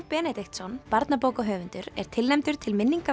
Benediktsson barnabókahöfundur er tilnefndur til